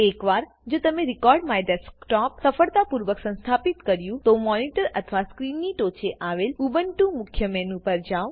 એક વાર જો તમે રેકોર્ડમાયડેસ્કટોપ સફળતાપૂર્વક સંસ્થાપિત કર્યું તોમોનીટર અથવા સ્ક્રીનની ટોંચે આવેલ ઉબ્નટુ મુખ્ય મેનુ પર જાવ